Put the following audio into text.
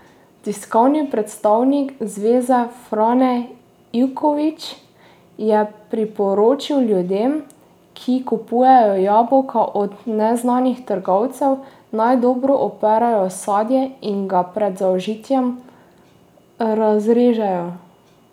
Tiskovni predstavnik zveze Frane Ivković je priporočil ljudem, ki kupujejo jabolka od neznanih trgovcev, naj dobro operejo sadje in ga pred zaužitjem razrežejo.